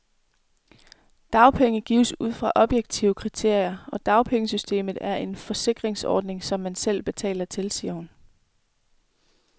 Dagpenge gives ud fra objektive kriterier, og dagpengesystemet er en forsikringsordning, som man selv betaler til, siger hun.